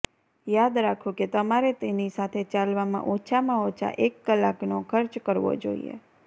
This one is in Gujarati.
યાદ રાખો કે તમારે તેની સાથે ચાલવા માં ઓછામાં ઓછા એક કલાકનો ખર્ચ કરવો જોઈએ